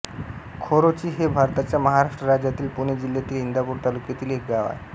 खोरोची हे भारताच्या महाराष्ट्र राज्यातील पुणे जिल्ह्यातील इंदापूर तालुक्यातील एक गाव आहे